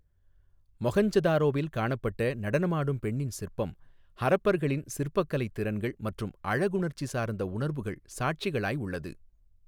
மொஹஞ்சதாரோவில் காணப்பட்ட நடனமாடும் பெண்ணின் சிற்பம் ஹரப்பர்களின் சிற்பக்கலை திறன்கள் மற்றும் அழகுணர்ச்சி சார்ந்த உணர்வுகள் சாட்சிகளாய் உள்ளது.